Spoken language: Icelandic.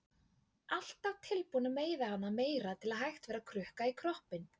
Alltaf tilbúin að meiða hana meira til að hægt væri að krukka í kroppinn.